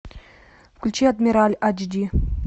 включи адмирал айч ди